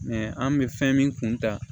an bɛ fɛn min kun ta